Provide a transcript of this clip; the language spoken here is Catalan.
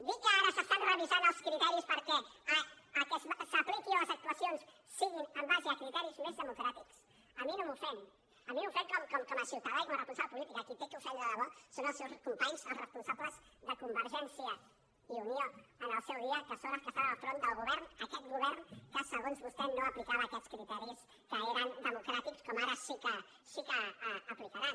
dir que ara s’estan revisant els criteris perquè el que s’apliqui en les actuacions sigui en base a criteris més democràtics a mi no m’ofèn a mi m’ofèn com a ciutadà i com a responsable polític a qui ha d’ofendre de debò és als seus companys als responsables de convergència i unió en el seu dia que són els que estaven al capdavant del govern d’aquest govern que segons vostè no aplicava aquests criteris que eren democràtics com ara sí que aplicaran